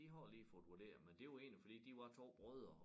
De har lige fået vurderet men det var egentlig fordi de var 2 brødre